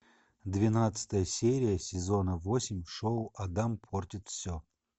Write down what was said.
двенадцатая серия сезона восемь шоу адам портит все